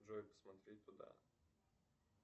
джой посмотреть туда